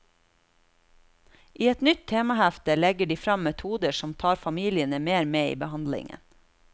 I et nytt temahefte legger de frem metoder som tar familiene mer med i behandlingen.